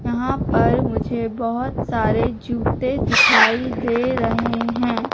यहां पर मुझे बहोत सारे जूते दिखाई दे रहे हैं।